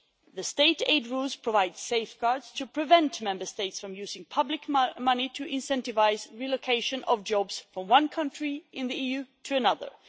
The state aid rules provide safeguards to prevent Member States from using public money to incentivise the relocation of jobs from one country in the EU to another.